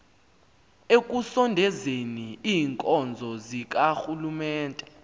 ekusondezeni iinkonzo zikarhulumente